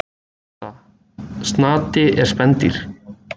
Niðurstaða: Snati er spendýr.